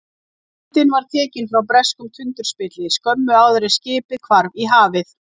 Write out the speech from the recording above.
Myndin var tekin frá breskum tundurspilli skömmu áður en skipið hvarf í hafið.